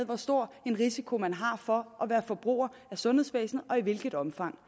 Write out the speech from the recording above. hvor stor en risiko man har for at være forbruger af sundhedsvæsenet og i hvilket omfang